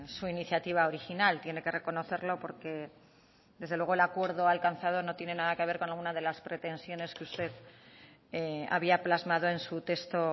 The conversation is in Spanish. su iniciativa original tiene que reconocerlo porque desde luego el acuerdo alcanzado no tiene nada que ver con alguna de las pretensiones que usted había plasmado en su texto